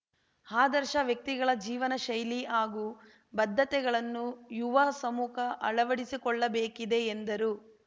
ಆದರ್ಶ ವ್ಯಕ್ತಿಗಳ ಜೀವನ ಶೈಲಿ ಹಾಗೂ ಬದ್ಧತೆಗಳನ್ನು ಯುವ ಸಮೂಹ ಅಳವಡಿಸಿಕೊಳ್ಳಬೇಕಿದೆ ಎಂದರು